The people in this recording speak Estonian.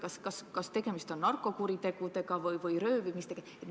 Kas tegemist võiks olla narkokuritegudega või röövimistega?